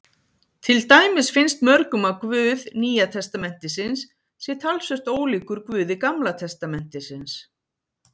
Til dæmis finnst mörgum að Guð Nýja testamentisins sé talsvert ólíkur Guði Gamla testamentisins.